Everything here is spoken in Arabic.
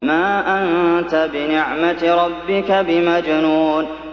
مَا أَنتَ بِنِعْمَةِ رَبِّكَ بِمَجْنُونٍ